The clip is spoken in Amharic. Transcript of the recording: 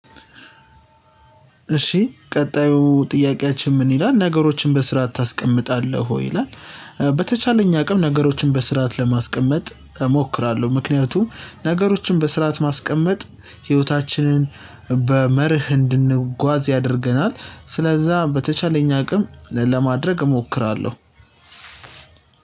እሺ ቀጣዩ ጥያቄያችን ምን ይላል ነገሮችን በስራ ታስቀምጣለህ ወይ ይላል? በተቻለኝ አቅም ነገሮችን በስርዓት ለማስቀመጥ እሞክራለሁ። ምክንያቱም ነገሮችን በስርዓት ማስቀመጥ ህይወታችንን በመርህ እንድንጓዝ ያደርገናል። ስለዛ በተቻለኝ አቅም ለማድረግ እሞክራለሁ።